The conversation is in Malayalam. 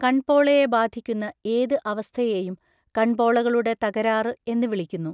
കൺപോളയെ ബാധിക്കുന്ന ഏത് അവസ്ഥയെയും കൺപോളകളുടെ തകരാറ് എന്ന് വിളിക്കുന്നു.